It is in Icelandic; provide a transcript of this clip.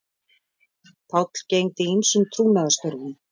Páll gegndi ýmsum trúnaðarstörfum